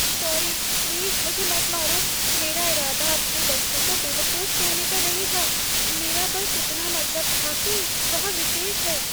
Sorry, please मुझे मत मारो। मेरा इरादा आपके बच्चे को बेवकूफ़ कहने का नहीं था। मेरा बस इतना मतलब था कि वह विशेष है।